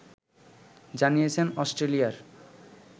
জানিয়েছেন অস্ট্রেলিয়ার